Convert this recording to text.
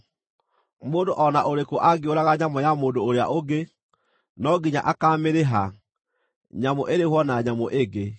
Mũndũ o na ũrĩkũ angĩũraga nyamũ ya mũndũ ũrĩa ũngĩ, no nginya akaamĩrĩha, nyamũ ĩrĩhwo na nyamũ ĩngĩ.